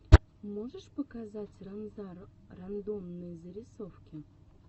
можешь показать ранзар рандомные зарисовки